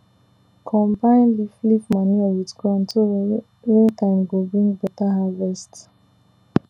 combine leaf leaf manure with ground so rain time go bring beta harvest